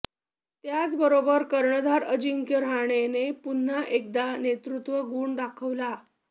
त्याच बरोबर कर्णधार अजिंक्य रहाणेने पुन्हा एकदा नेतृत्व गुण दाखवला